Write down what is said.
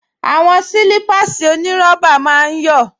Àwọn sílípáàsì onírọ́bà máa ń yọ̀